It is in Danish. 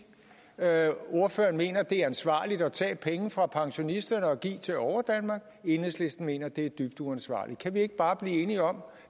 ordføreren mener at det er ansvarligt at tage penge fra pensionisterne og give til overdanmark enhedslisten mener at det et dybt uansvarligt kan vi ikke bare blive enige om